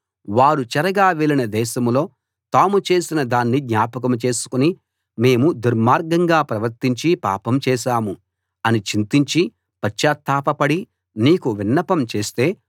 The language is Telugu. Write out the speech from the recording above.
వారు చెరగా వెళ్ళిన దేశంలో తాము చేసిన దాన్ని జ్ఞాపకం చేసుకుని మేము దుర్మార్గంగా ప్రవర్తించి పాపం చేశాము అని చింతించి పశ్చాత్తాపపడి నీకు విన్నపం చేస్తే